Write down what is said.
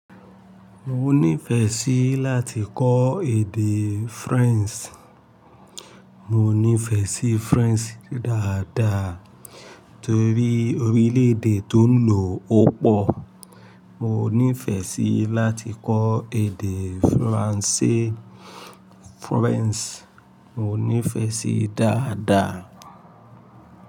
Mo nífẹẹ sí láti kọ́ èdè French. Mo nífẹẹ sí French dáadáa torí orílẹ̀ èdè tó ń lò ó pọ̀. Mo nífẹẹ sí láti kọ́ èdè Faransé French. Mo nífẹẹ sí dáadáa.